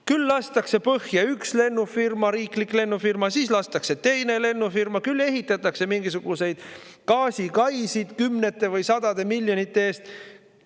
Küll lastakse põhja üks riiklik lennufirma, siis lastakse põhja teine lennufirma, küll ehitatakse mingisuguseid gaasikaisid kümnete või sadade miljonite eest.